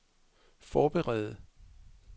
forberede